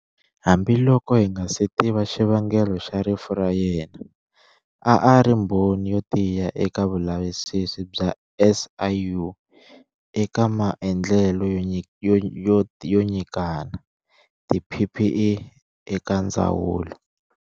Hambiloko hi nga si tiva xivangelo xa rifu ra yena, a a ri mbhoni yo tiya eka vulavisisi bya SIU eka maendlelo yo nyikana tiPPE eka ndzawulo.